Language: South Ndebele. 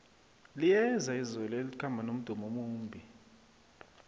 liyeza izulu elikhamba nomdumo omumbi